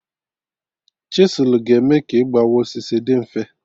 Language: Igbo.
Chiselụ ga eme ka igbawa osisi dị mfe